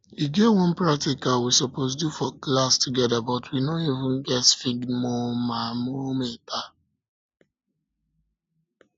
e get one practical we suppose do for class together but we no even get sphygmomanometer